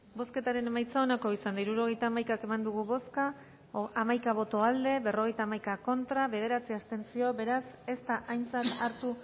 bozketaren emaitza onako izan da hirurogeita hamaika eman dugu bozka hamaika boto aldekoa berrogeita hamaika contra bederatzi abstentzio beraz ez da aintzat hartu